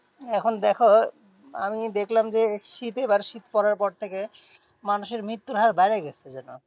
এখন দেখো আমি দেখলাম যে শীত এবারে শীত পড়ার পর থেকে মানুষের মৃত্যুর হার বাড়ে গেছে যেন।